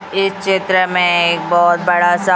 इस चित्र में एक बहोत बड़ा सा--